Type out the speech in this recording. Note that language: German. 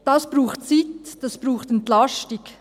Dies braucht Zeit, dies braucht Entlastung.